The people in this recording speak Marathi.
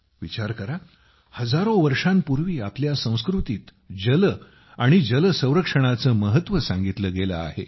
विचार करा हजारो वर्षांपूर्वी आपल्या संस्कृतीत जल आणि जल संरक्षणाचे महत्त्व सांगितले गेले आहे